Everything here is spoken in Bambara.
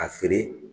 A feere